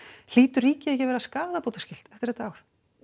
hlýtur ríkið ekki að vera skaðabótaskylt eftir þetta ár